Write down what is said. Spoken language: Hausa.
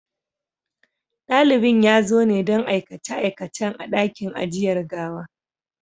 Dalibin ya zo ne don aikace-aikacen a ɗakin ajiyar gawa.